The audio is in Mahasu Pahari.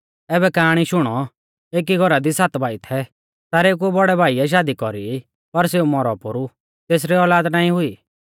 ऐबै काआणी शुणौ एकी घौरा दी सात भाई थै सारेउ कु बौड़ै भाइऐ शादी कौरी पर सेऊ मौरौ पोरु तेसरी औलाद नाईं हुई